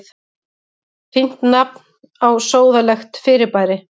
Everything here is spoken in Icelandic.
Fínt nafn á sóðalegt fyrirbæri.